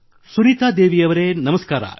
ಸುನೀತಾ ದೇವಿಯವರೆ ನಮಸ್ಕಾರ